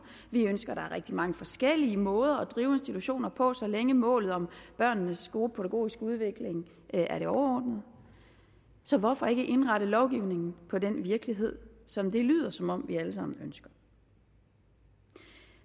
vi ønsker at der er rigtig mange forskellige måder at drive institutioner på så længe målet om børnenes gode pædagogiske udvikling er det overordnede så hvorfor ikke indrette lovgivningen på den virkelighed som det lyder som om vi alle sammen ønsker